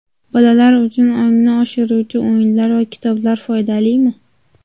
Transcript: Bolalar uchun ongni oshiruvchi o‘yinlar va kitoblar foydalimi?.